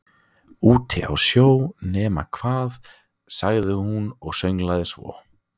Úti á sjó, nema hvað- sagði hún og sönglaði svo